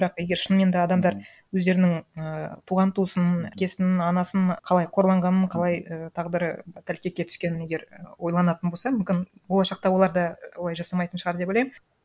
бірақ егер шынымен де адамдар өздерінің і туған туысын әпкесінің анасының қалай қорланғанын қалай і тағдыры тәлкекке түскенін егер ойланатын болса мүмкін болашақта олар да олай жасамайтын шығар деп ойлаймын